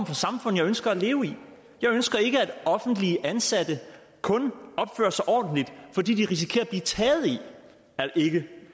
for samfund jeg ønsker at leve i jeg ønsker ikke at offentligt ansatte kun opfører sig ordentligt fordi de risikerer taget i ikke